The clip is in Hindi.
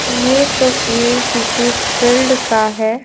यह तस्वीर किसी फील्ड का है।